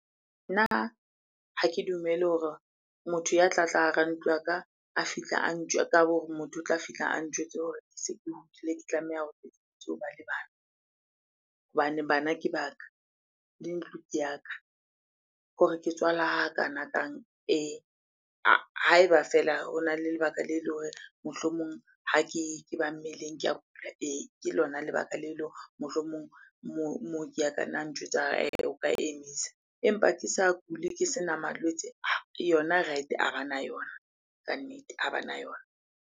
Nna ha ke dumele hore motho ya tlatla hara ntlo ya ka, a fihla hore motho o tla fihla a ntjwetse hore ke se ke hodile, ke tlameha hore hoba le bana. Hobane bana ke ba ka, le di ntlo ke ya ka. Hore ke tswala hakanakang ee, ha eba feela hona le lebaka le le hore mohlomong ha ke ba mmeleng ke a kula, ee. Ke lona lebaka le le hore mohlomong mooki ya ka na ntjwetsa a re, he.e o ka emisa. Empa ke sa kule, ke sena malwetse yona right-e a bana yona. Kannete a bana yona.